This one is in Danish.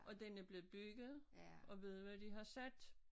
Og den er blevet bygget og ved du hvad de har sat